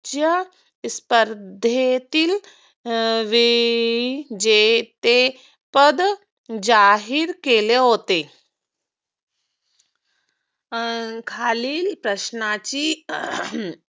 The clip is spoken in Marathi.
त्या स्पर्धेतील वेळी जे ते पद जाहीर केले होते. खालील प्रश्नाची